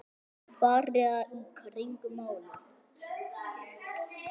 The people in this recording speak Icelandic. Fara í kringum málið?